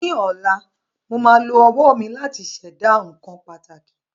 Ní ọ̀la, mo máa lo owó mi láti Ṣẹ̀dá nǹkan pàtàkì